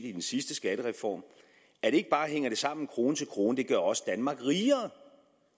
i den sidste skattereform at ikke bare hænger det sammen krone til krone det gør også danmark rigere